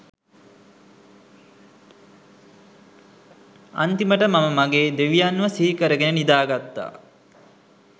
අන්තිමට මම මගේ දෙවියන්ව සිහිකරගෙන නිදාගත්තා.